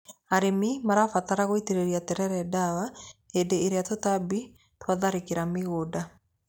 Arĩmi marabatara gũitĩrĩria terere ndawa hĩndĩ ĩrĩa tũtambi twatharĩkĩra mũgũnda.